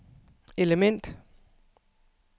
element